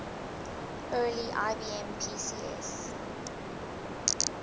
early ibm pcs